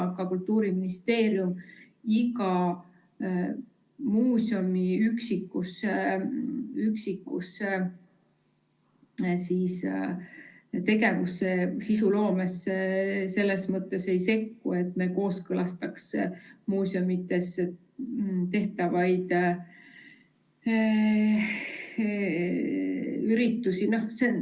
Aga Kultuuriministeerium iga muuseumi üksikusse tegevusse, sisuloomesse selles mõttes ei sekku – me ei kooskõlasta muuseumides tehtavaid üritusi.